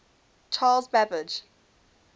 charles babbage